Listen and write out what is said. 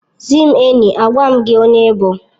Zị m enyi, agwa m gị onye ị bụ